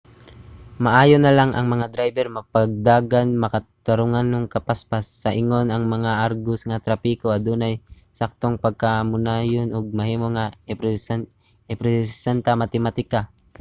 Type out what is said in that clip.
maayo na lang ang mga drayber magpadagan makatarunganong kapaspas; sa ingon ang mga agos sa trapiko adunay saktong pagkamakanunayon ug mahimo nga irepresenta sa matematika